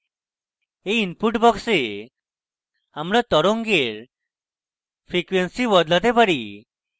in input box we আমরা তরঙ্গের frequency বদলাতে পারি